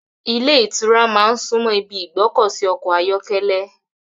Ìlé ìtura náà súnmọ́ ibi ìgbọ́kọ̀sí ọkọ̀ ayọ́kẹ́lẹ́